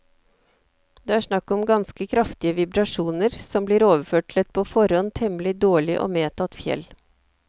Det er snakk om ganske kraftige vibrasjoner som blir overført til et på forhånd temmelig dårlig og medtatt fjell.